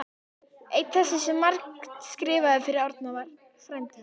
Einn þeirra sem margt skrifaði fyrir Árna var frændi hans